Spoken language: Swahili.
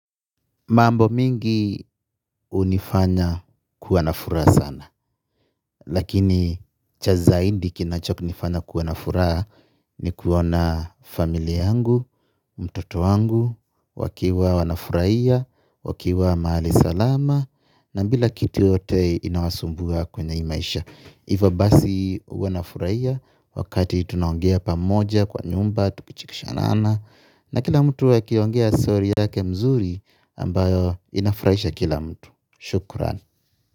Mambo mingi unifanya kuwana furaha sana, lakini cha zaindi kinachokunifanya kuwa nafuraha ni kuona familia yangu, mtoto wangu, wakiwa wanafuraia, wakiwa maali salama, na mbila kitu yoyote inawasumbua kwenye hi maisha. Hivyo basi huwa nafuraia wakati tunaongea pamoja kwa nyumba tukichekishana ana. Na kila mtu akiongea story yake mzuri ambayo inafuraisha kila mtu. Shukuran.